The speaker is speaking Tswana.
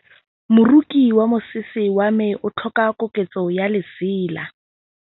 Moroki wa mosese wa me o tlhoka koketsô ya lesela.